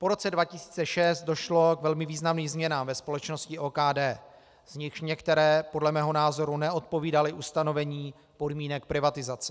Po roce 2006 došlo k velmi významným změnám ve společnosti OKD, z nichž některé podle mého názoru neodpovídaly ustanovení podmínek privatizace.